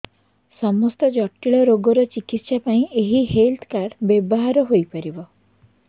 ସମସ୍ତ ଜଟିଳ ରୋଗର ଚିକିତ୍ସା ପାଇଁ ଏହି ହେଲ୍ଥ କାର୍ଡ ବ୍ୟବହାର ହୋଇପାରିବ